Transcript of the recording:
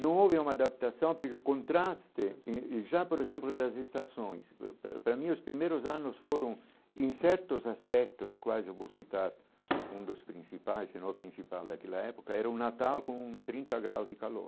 Não houve uma adaptação, porque o contraste, eh já, por exemplo, das estações, para para para mim, os primeiros anos foram em certos aspectos, quase eu vou citar, um dos principais, se não o principal daquela época, era um natal com trinta graus de calor.